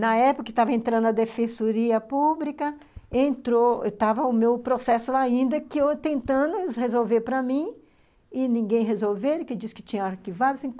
Na época que estava entrando a defensoria pública, entrou , estava o meu processo lá, ainda que eu tentando resolver para mim, e ninguém resolver, que diz que tinha arquivado.